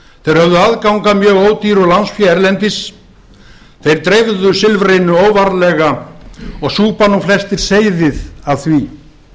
höfðu aðgang að mjög ódýru lánsfé erlendis þeir dreifðu silfrinu óvarlega og súpa nú flestir seyðið af því